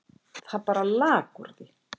Það bara lak úr því.